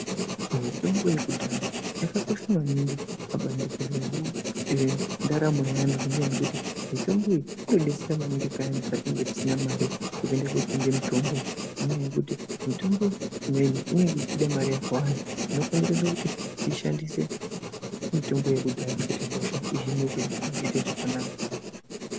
Mitombo yekudhaya yakakosha maningi pabandiko reantu ngekuti mitombo iyi inodetsera maningi payani patinenge tisina mare yekuende kotenge mitombo, nenyaya yekuti mitombo imweni inenge ichida mari yakawanda zvinofonderedze kuti tishandise mitombo yekudhaya kuti hosha ihinike zvakanaka.